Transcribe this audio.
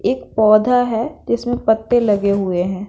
एक पौधा हैं जिसमें पत्ते लगे हुए हैं।